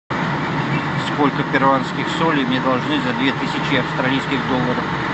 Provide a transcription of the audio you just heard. сколько перуанских солей мне должны за две тысячи австралийских долларов